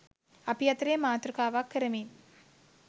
අපි අතරේ මාතෘකාවක් කරමින්.